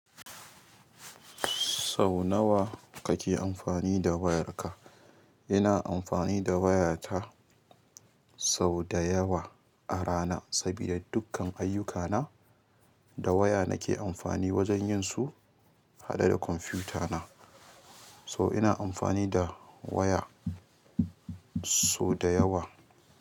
Sau nawa kake amfani da wayarka? Ina amfani da wayata sau da yawa a rana sabida dukkan ayyukana da waya nake amfani wajen yin su haɗe da kwamfutana. So ina amfani da waya sau da yawa.